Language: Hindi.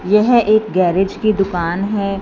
यह एक गैरेज की दुकान है।